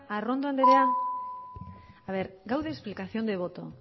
arrondo andrea gaude explicación de voto